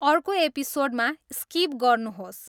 अर्को एपिसोडमा स्किप गर्नुहोस्